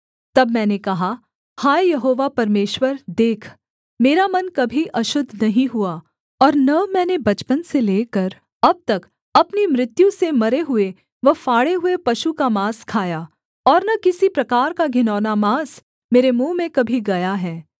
तब मैंने कहा हाय यहोवा परमेश्वर देख मेरा मन कभी अशुद्ध नहीं हुआ और न मैंने बचपन से लेकर अब तक अपनी मृत्यु से मरे हुए व फाड़े हुए पशु का माँस खाया और न किसी प्रकार का घिनौना माँस मेरे मुँह में कभी गया है